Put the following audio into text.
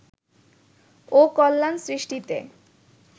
ও কল্যাণ সৃষ্টিতে